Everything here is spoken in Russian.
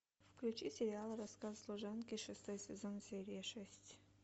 включи сериал рассказ служанки шестой сезон серия шесть